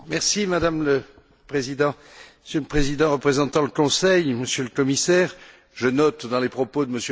Madame le Président, Monsieur le Président représentant le Conseil, Monsieur le Commissaire, je note dans les propos de M.